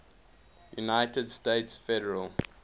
united states federal